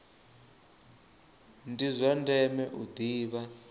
ndi zwa ndeme u ḓivha